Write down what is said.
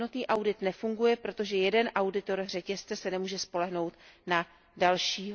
Jednotný audit nefunguje, protože jeden auditor řetězce se nemůže spolehnout na dalšího.